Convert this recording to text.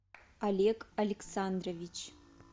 олег александрович